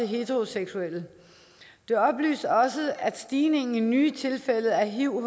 heteroseksuelle de oplyser også at stigningen i nye tilfælde af hiv